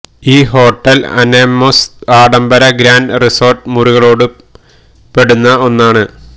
ഈ hotel Anemos ആഡംബര grand resort മുറികളോടു പെടുന്ന ഒന്നാണ്